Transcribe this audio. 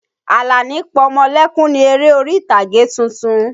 Àlàní pọmọlẹ́kún ni eré orí ìtàgé tuntun.